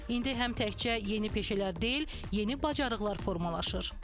İndi həm təkcə yeni peşələr deyil, yeni bacarıqlar formalaşır.